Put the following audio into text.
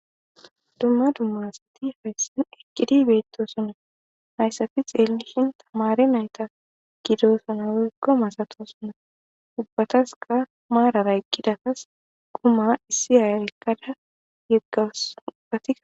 dumma dummasati hayssin ekkidi beetto sunna hayssafi xeellishin tamare nayta gidosuna weggo masato suna ubbataska maarara eqqidatas guma issi hayarekkada yeggawasatia